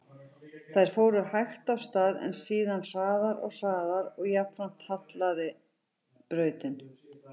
Þær fóru hægt af stað, en síðan hraðar og hraðar og jafnframt hallaði brautin.